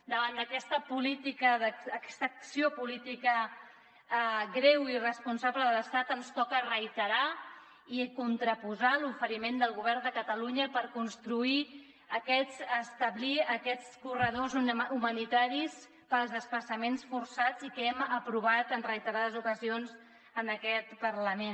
davant d’aquesta política aquesta acció política greu i irresponsable de l’estat ens toca reiterar i contraposar l’oferiment del govern de catalunya per establir aquests corredors humanitaris per als desplaçaments forçats i que hem aprovat en reiterades ocasions en aquest parlament